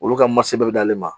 Olu ka bɛɛ bɛ d'ale ma